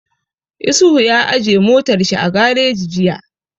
Isuhu ya aje motar shi a gareji jiya